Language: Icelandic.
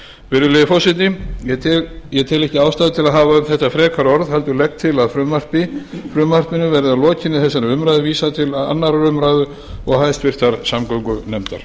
virðulegi forseti ég tel ekki ástæðu til að hafa um þetta frekari orð heldur legg til að frumvarpinu verði að lokinni þessari umræðu vísað til annarrar umræðu og háttvirtrar samgöngunefndar